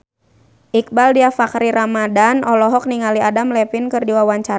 Iqbaal Dhiafakhri Ramadhan olohok ningali Adam Levine keur diwawancara